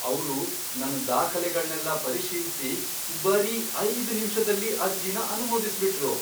ಅವ್ರು ನನ್ ದಾಖಲೆಗಳ್ನೆಲ್ಲ ಪರಿಶೀಲ್ಸಿ ಬರೀ ಐದ್ ನಿಮಿಷ್ದಲ್ಲಿ ಅರ್ಜಿನ ಅನುಮೋದಿಸ್ಬಿಟ್ರು!